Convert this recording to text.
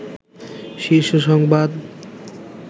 শীর্ষ সংবাদ